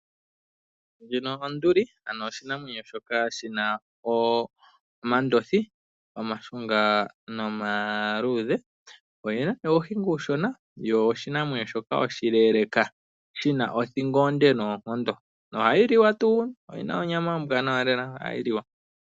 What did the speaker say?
Onduli osho oshinamwenyo shoka shi na omandothi giihenguti ya kukuta nomandjimbi. Oyi na uuniga uushona yo oshinamwenyo shoka oshileeleka shi na othingo onde noonkondo. Ohayi liwa noyi na onyama ombwaanawa lela.